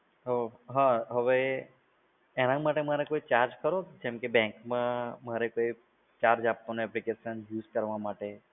અ હા હવે એના માટે મને કોઈ charge ખરો? જેમ કે bank માં મારે કોઈ charge આપવાનો application યુઝ કરવા માટે?